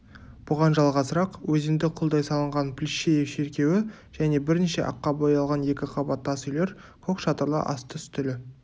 бұған жалғасырақ өзенді құлдай салынған плещеев шеркеуі және бірнеше аққа боялған екі қабат тас үйлер көк шатырлы асты-үстілі